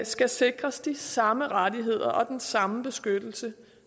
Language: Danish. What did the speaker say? skal sikres de samme rettigheder og den samme beskyttelse